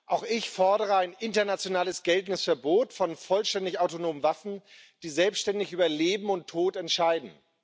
Auch ich fordere ein international geltendes Verbot von vollständig autonomen Waffen, die selbständig über Leben und Tod entscheiden.